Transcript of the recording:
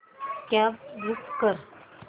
cab book कर